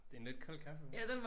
Det en lidt kold kaffe hva?